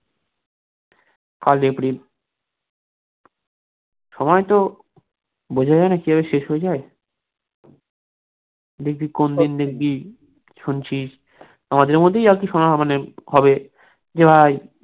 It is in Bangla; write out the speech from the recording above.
কাল april সময় তো বোঝা যায়না কিভাবে শেষ হয়ে যায়, দেখবি কোনদিন দেখবি, শুনছিস, আমাদের মধ্যেই হয়তো শোনা হবে যে ভাই